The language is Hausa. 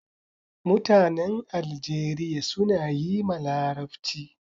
Mutanen Aljeriya suna yi ma larabci